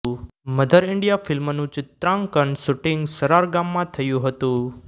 mother India ફિલ્મનું ચિત્રાંકન shooting Sarar ગામમાં થયું હતું